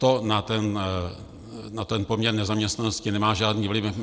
To na ten poměr nezaměstnanosti nemá žádný vliv.